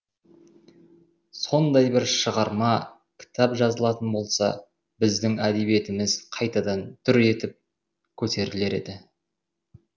сондай бір шығарма кітап жазылатын болса біздің әдебиетіміз қайтадан дүр етіп көтерілер еді